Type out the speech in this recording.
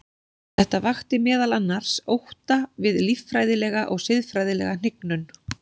Þetta vakti meðal annars ótta við líffræðilega og siðferðilega hnignun.